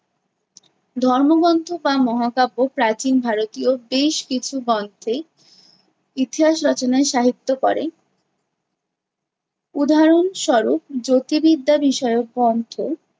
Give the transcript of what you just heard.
ধর্মগন্থ বা মহাকাব্য প্রাচীন ভারতীয় বেশ কিছু গন্থে ইতিহাস রচনায় সাহিত্য করে। উদহারণ স্বরূপ জ্যোতির্বিদ্যা বিষয়ক গন্থ